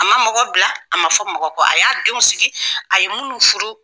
A ma mɔgɔ bila a ma fɔ mɔgɔ kɔ a y'a denw sigi a ye minnu furu